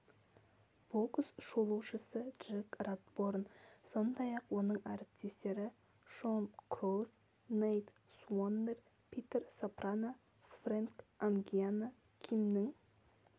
бокс шолушысы джек ратборн сондай-ақ оның әріптестері шон кроус нейт суоннер питер сопрано фрэнк ангиано кимнің